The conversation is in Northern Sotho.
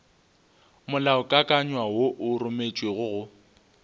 molaokakanywa wo o rometšwego go